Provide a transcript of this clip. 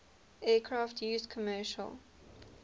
aircraft used commercial